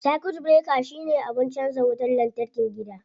Circuit breaker shine abin canza wutar lantarkin gida.